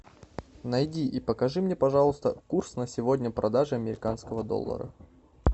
найди и покажи мне пожалуйста курс на сегодня продажи американского доллара